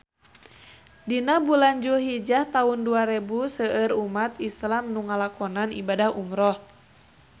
Dina bulan Julhijah taun dua rebu seueur umat islam nu ngalakonan ibadah umrah